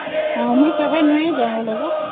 ମୁଁ କେବେ ଯାଇନି